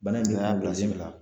Bana in be a y'a bila